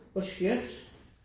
Hvor skønt